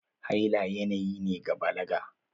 Haila yanayi ne na balaga.